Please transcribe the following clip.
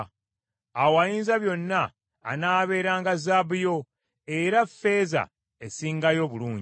awo Ayinzabyonna anaabeeranga zaabu yo, era ffeeza esingayo obulungi.